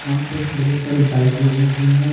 वहाँ पे बहुत सारी बाइक लगी हुई है।